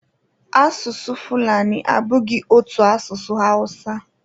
Asụsụ Fulani abụghị otu asụsụ Hausa